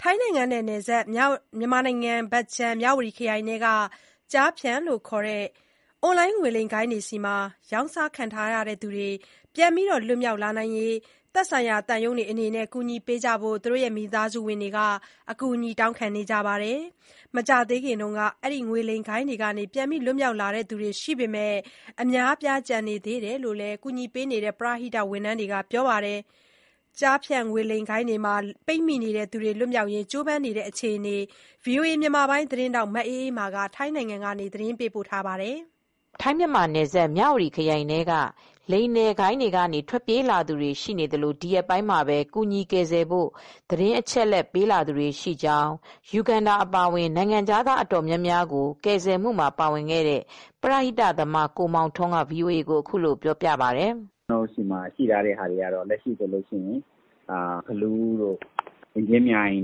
ထိုင်းနိုင်ငံနဲ့နယ်စပ် မြန်မာနိုင်ငံ မြဝတီခရိုင်ထဲက ကျားဖြန့်လို့ခေါ်တဲ့ အွန်လိုင်းငွေလိမ်ဂိုဏ်းတွေထံ ရောင်းစားခံရသူတွေ ပြန်လည်လွတ်မြောက်ရေး သက်ဆိုင်ရာသံရုံးတွေကကူညီကြဖို့ မိသားစုဝင်တွေ အကူညီတောင်းခံနေကြပါတယ်။ မကြာသေးခင်ကလည်း ငွေလိမ်ဂိုဏ်းတွေလက်က ပြန်လွတ် လာသူတွေရှိပေမဲ့ အများအပြား ကျန်နေသေးတယ်လို့လည်း ပရဟိတဝန်ထမ်းတွေက ပြောပါတယ်။ ငွေလိမ်ဂိုဏ်းတွေမှာ ပိတ်မိနေသူတွေ လွတ်မြောက်ရေး ကြိုးပမ်းနေတဲ့အခြေအနေကိုတော့ ဗွီအိုအေ မြန်မာပိုင်းသတင်းထောက် မအေးအေးမာ ထိုင်းနိုင်ငံကနေ သတင်းပေးပို့ထားပါတယ်။ ထိုင်း-မြန်မာနယ်စပ်မြ၀တီခရိုင်ထဲက လိမ်လည်ဂိုဏ်းတွေကနေ ထွက်ပြေးလာသူတွေရှိသလို ဒီရက်ပိုင်းမှာပဲကူညီကယ်ဆယ်ဖို့ သတင်းအချက်အလက်ပေးလာသူတွေရှိကြောင်း ယူဂန်ဒါ အပါအဝင် နိုင်ငံခြားသားအတော်များများကို ကယ်ဆယ်ရာမှာပါဝင်ခဲ့တဲ့ ပရဟိတသမားကိုမောင်ထွန်းက VOA ကို အခုလိုပြောပြပါတယ်။ “ကျနော့်ဆီမှာ အချက်အလက်ရှိတဲ့သူတွေကတော့ ဖလူးတို့၊ အင်ကြင်းမြိုင်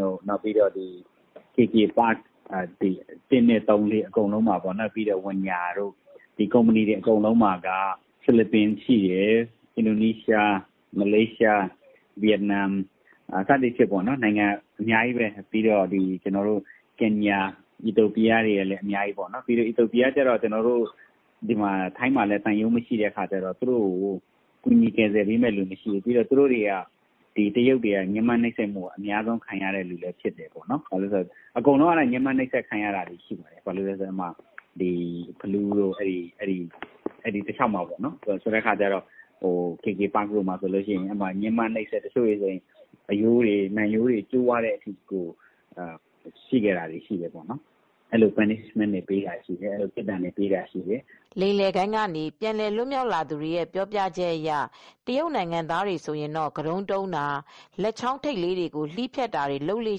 တို့၊ KK Park 1. 2.3၊ ဝင်ညာ ဒီကုမ္ပဏီတွေအကုန်လုံးမှာက ဖိလစ်ပိုင်ရှိတယ်။ အင်ဒိုနီးရှား၊ မလေးရှားရှိတယ်။ ဗီယက်နမ် စသဖြင့် နိုင်ငံအများကြီးပဲ။ ကင်ညာ၊ အီသီယိုးပီးယားတွေလည်း အများကြီးရှိတယ်။ အီသီယိုးပီးယား ကတော့ ထိုင်းမှာလည်း သူတို့သံရုံးမရှိဘူး၊ သူတို့ကို ကယ်ဆယ်ပေးမယ့်သူမရှိဘူး။ သူတို့တွေကို တရုတ်တွေက ညှဥ်းပန်းနှိပ်စက်မှုတွေအများဆုံးခံရသူတွေဖြစ်တယ်။ အဲဒီမှာ အားလုံးကတော့ နှိပ်စက်ခံရတာပါပဲ။ ဖလူးတို့ အဲဒီတလျှောက်မှာ KK Park မှာဆို ညှဥ်းပန်းနှိပ်စက်တာကတော့ တချို့တွေဆို အရိုးတွေ၊ နံရိုးတွေကျိုးသွားတဲ့အထိဖြစ်ကြတယ်။ အဲဒီလို အပြစ်ပေးတာတွေ၊ ညှဥ်းပန်းတာတွေလုပ်လေ့ရှိတယ်။” လိမ်လည်ဂိုဏ်းကနေ ပြန်လွတ်မြောက်လာသူတဦးပြောပြချက်အရ တရုတ်နိုင်ငံသားတွေဆိုရင်တော့ ကတုံး,တုံးတာ၊ လက်ချောင်းထိပ်လေးတွေကို လှီးဖြတ်တာတွေလုပ်လေ့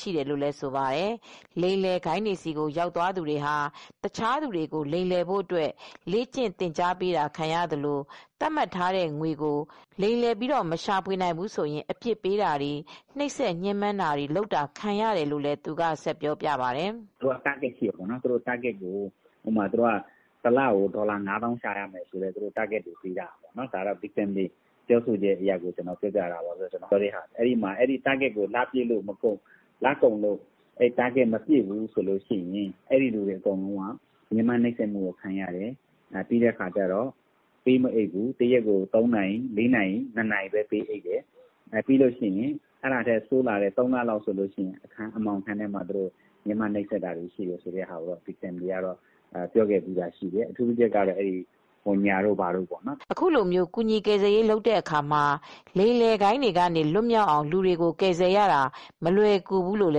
ရှိတယ်လို့လည်း ဆိုပါတယ်။ လိမ်လည်ဂိုဏ်းတွေဆီ ရောက်သွားသူတွေဟာ တခြားသူတွေကိုလိမ်လည်ဖို့အတွက် လေ့ကျင့် သင်ကြားပေးခံရသလို သတ်မှတ်ထားတဲ့ငွေကို လိမ်လည်မရှာဖွေနိုင်ဘူးဆိုရင် အပြစ်ပေးတာတွေ နှိပ်စက်ညှဥ်းပန်းတာတွေခံရတယ်လို့လည်း သူကဆက်ပြောပြပါတယ်။ “သူတို့က Target ရှိတယ်။ ဥပမာ တလကို ဒေါ်လာ ငါးသောင်းရှာရမယ်ဆိုပါတော့၊ အဲဒီမှာနေခဲ့ရတဲ့ သားကောင်တွေပြောပြတာပါ။ သူတို့ပြောတာကတော့ အဲဒီ Target ကိုမပြည့်ဘူးဆိုရင် သူတို့ အနေနဲ့ ညှဥ်းပန်းနှိပ်စက်ခံရတယ်။ ပေးမအိပ်ဘူး၊ သူတို့ တနေ့ကို နှစ်နာရီ သုံးနာရီလောက်ပဲ ပေးအိပ် တယ်။ အဲဒါထက်ဆိုးတာက သုံးလလောက်ဆို သူတို့ကို အမှောင်ခန်းထဲမှာ ထားပြီး နှိပ်စက်ညှင်းပမ်းတာတွေရှိတယ်လို့ ပြောပြကြပါတယ်။” အခုလိုကူညီကယ်ဆယ်ရေးလုပ်တဲ့အခါမှာ လိမ်လည်ဂိုဏ်းတွေကလွတ်မြောက်အောင် လူတွေကို ကယ်ဆယ်ရတာမလွယ်ကူဘူးလို့လ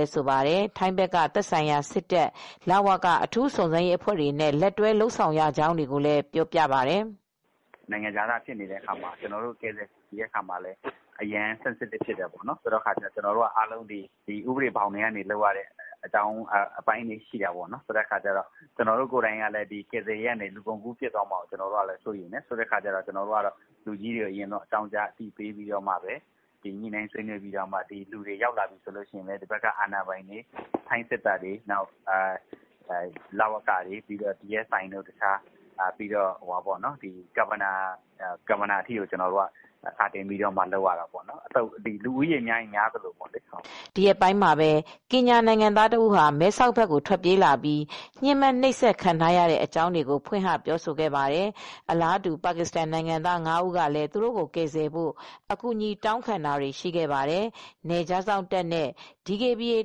ည်း ဆိုပါတယ်။ ထိုင်းဘက်ကသက်ဆိုင်ရာစစ်တပ် လ၀က အထူးစုံစမ်းရေးအဖွဲ့တွေနဲ့ လက်တွဲ လုပ်ဆောင်ရကြောင်းကိုလည်းပြောပြပါတယ်။ “နိုင်ငံခြားသားဖြစ်တဲ့အခါမှာ ကျနော်တို့ကယ်ဆယ်တဲ့အခါမှာ ထိလွယ်ရှလွယ်ဖြစ်တာတွေရှိတယ်။ ကျနော်တို့ကိုယ်တိုင်ကလည်း ကယ်ဆယ်ရေးလုပ်ရာကနေ လူကုန်ကူးဖြစ်သွားမှာကိုစိုးရိမ်တယ်။ ဒီအတွက် ထိုင်းဘက်က လူကြီးတွေကိုညှိနှိုင်းဆွေးနွေးပြီး ကယ်ဆယ်ခဲ့တဲ့လူတွေ ရောက်လာပြီ ဆိုရင်လည်း ကျနော်တို့က ထိုင်းစစ်တပ်တို့၊ လ၀ကတွေ၊ DSI တို့၊ မြို့နယ် ခရိုင်အုပ်ချုပ်ရေးမှူးတို့ကို စာတင်ပြီး ကျနော်တို့က ကူညီကယ်ဆယ်ရတယ်။ လူဦးရေများရင်များသလို လုပ်ရတာဖြစ်ပါတယ်။” ဒီရက်ပိုင်းမှာပဲ ကင်ညာနိုင်ငံသားတဦးဟာ မဲဆောက်ဘက်ကို ထွက်ပြေးလာခဲ့ပြီး ညှဥ်းပန်းနှိပ်စက် ခံရတဲ့ အကြာင်းတွေကို ဖွင့်ဟပြောဆိုခဲ့ပါတယ်။ အလားတူ ပါကစ္စတန်နိုင်ငံသား ငါးဦးကလည်း သူတို့ကို ကယ်ဆယ်ဖို့အကူညီတောင်းခံတာတွေလည်း ရှိခဲ့ပါတယ်။ နယ်ခြားစောင့်တပ်နဲ့ DKBA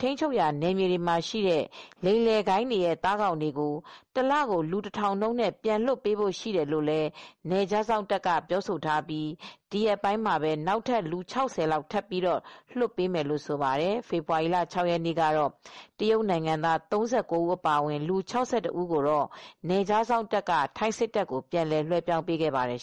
ထိန်းချုပ်ရာနယ်မြေတွေမှာ ရှိနေတဲ့ လိမ်လည်ဂိုဏ်းတွေရဲ့ သားကောင်တွေကို တလကို လူ နှုံးနဲ့ပြန်လွှတ်ပေးဖို့ရှိတယ်လို့လည်း နယ်ခြားစောင့်တပ်က ပြောဆိုထားပြီး ဒီရက်ပိုင်းမှာပဲနောက်ထပ် လူ ၆၀ လောက် ထပ်ပြီးလွှတ်ပေးမယ်လို့ဆိုပါတယ်။ ဖေဖေါ်ဝါရီလ ၆ ရက်နေ့ကတော့ တရုတ်နိုင်ငံသား ၃၉ ဦးအပါအဝင် လူ ၆၁ဦးကို နယ်ခြားစောင့်တပ်က ထိုင်းစစ်တပ်ကိုပြန်လွှဲပြောင်းပေးခဲ့ပါတယ်